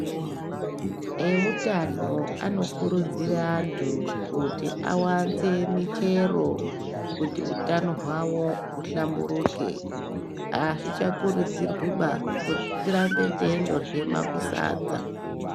Ewutano anokurudzira antu kuti awanze michero kuti utano hwavo huhlamburuke, azvichakurudzirwiba kuti tirambe teyindorya makusadza.